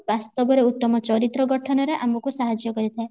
ବାସ୍ତବରେ ଉତ୍ତମ ଚରିତ୍ର ଗଠନରେ ଆମକୁ ସାହାଜ୍ଯ କରିଥାଏ